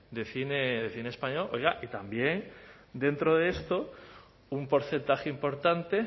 de cine de cine español oiga y también dentro de esto un porcentaje importante